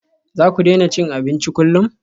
Za ku daina cin abinci kullum?